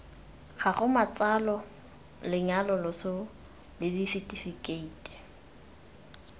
gago matsalo lenyalo loso lesetifikheiti